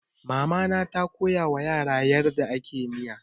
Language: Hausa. Mama na ta koyawa yara yadda ake miya.